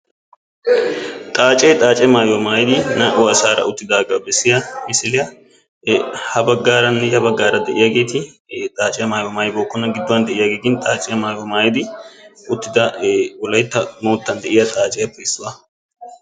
Xaacee xaace mayuwa mayidi naa"u asaara uttidaagaa bessiya misiliya. Ha baggaaranne ya baggaara de'iyageeti xaace mayuwa mayibookkona. Gidduwan de'iyagee gin xaace mayuwa mayidi uttida wolayitta moottan diya xaaciyappe issuwa.